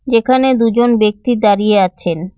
এখানে দুজন ব্যক্তি দাঁড়িয়ে আছেন।